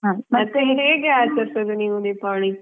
ಮತ್ತೆ ಹೇಗೆ ಆಚರಿಸುವುದು ನೀವು ದೀಪಾವಳಿ?